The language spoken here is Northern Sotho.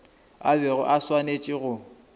a bego a swanetše go